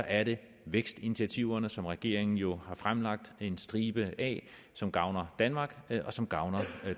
er det vækstinitiativerne som regeringen jo har fremlagt en stribe af som gavner danmark og som gavner